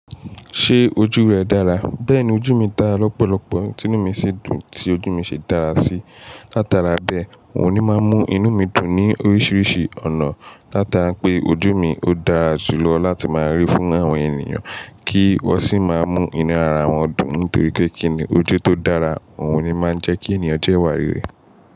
Ṣé ojú rẹ dára? Bẹ́ẹ̀ni ojú mi dára lọ́pọ̀lọpọ̀, ti inú mi sì dùn tí ojú mi ṣe dára sí. Látara bẹ́ẹ̀, n ò ní máa mú inú mi dùn ní oríṣiríṣi ọ̀nà. Látara pé ojú mi ò dára jù lọ láti máa rí fún àwọn ènìyàn kí wọ́n sì máa mú inú ara wọn dùn. Nítorí pé kíni ojú tó dára, òun ni máa ń jẹ́ kí ènìyàn jẹ́ ìwà rere.